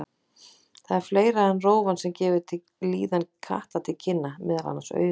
Það er fleira en rófan sem gefur líðan katta til kynna, meðal annars augun.